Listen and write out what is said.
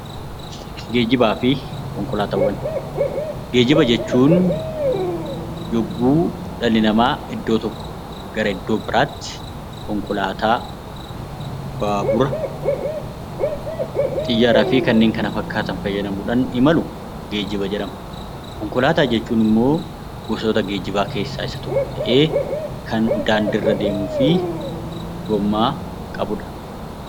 Geejjibaa fi konkolaataawwan Geejjiba jechuun yogguu dhalli namaa iddoo tokkoo gara iddoo biraatti konkolaataa, baabura, xiyyaaraa fi kanneen kana fakkaatan fayyadamuu dhaan imalu 'Geejjiba' jedhama. Konkolaataa jechuun immoo gosoota geejjibaa keessaa isa tokko ta'ee kan daandii irra deemuu fi gommaa qabu dha.